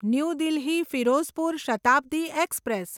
new Delhi Firozpur Shatabdi express